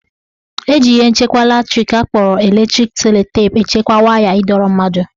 Eji ihe mmachi latrik akpọrọ electric sellotape echekwa waya ịdọrọ mmadụ